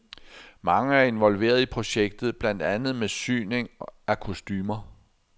Mange er involveret i projektet, blandt andet med syning af kostumer.